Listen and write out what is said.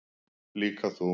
Líka þú.